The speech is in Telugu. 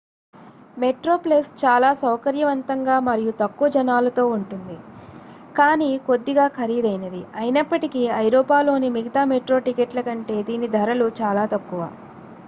metroplus చాలా సౌకర్యవంతంగా మరియు తక్కువ జనాలతో ఉంటుంది కానీ కొద్దిగా ఖరీదైనది అయినప్పటికీ ఐరోపాలోని మిగతా మెట్రో టికెట్ల కంటే దీని ధరలు చాలా తక్కువ